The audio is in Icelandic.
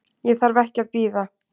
Ég þarf ekki að bíða.